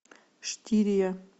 штирия